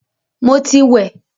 Mo ti wẹ̀